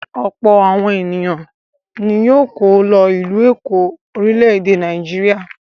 Ọ̀pọ̀ àwọn ènìyàn ni yóò kọ́ lọ ìlú Èkó, orílẹ̀-èdè Nàìjíríà.